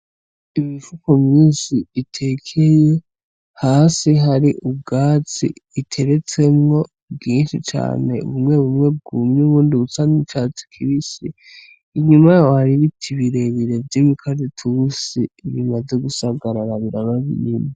Ibifuko myisi itekeye hasi hari ubwatsi iteretsemwo bwinshi cane ubumwe bumwe bwumye ubundi ubutsanyu cacu kibisi inyuma ybaribiki ibirebere vy'imikajit ubusi bimaze gusagararabira babinimi.